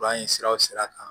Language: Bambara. Fura in siraw sira kan